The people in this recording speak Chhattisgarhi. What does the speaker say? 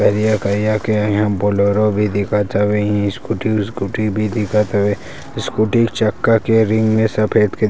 करिया-करिया के इहाँ बलेरो भी दिखत हवे स्कूटी वुसकुटी भी दिखत हवे स्कूटी चक्का के रिंग मे सफ़ेद के--